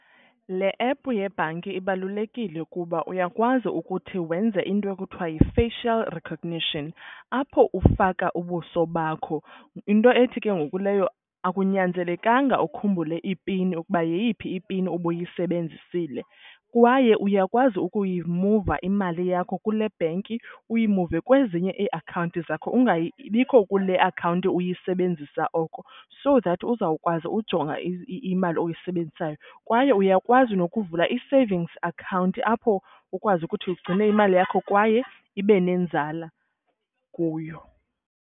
Le app yebhanki ibalulekile kuba uyakwazi ukuthi wenze into ekuthiwa yi-facial recognition, apho ufaka ubuso bakho. Into ethi ke ngoku leyo akunyanzelekanga ukhumbule i-pin ukuba yeyiphi i-pin ubuyisebenzisile. Kwaye uyakwazi ukuyimuva imali yakho kule bhenki uyimuve kwezinye iiakhawunti zakho ingabikho kule akhawunti uyisebenzisa oko, so that uzawukwazi ujonga imali oyisebenzisayo. Kwaye uyakwazi nokuvula i-savings account apho ukwazi ukuthi ugcine imali yakho kwaye ibe nenzala kuyo.